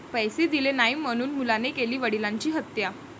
पैसे दिले नाही म्हणून मुलाने केली वडिलांची हत्या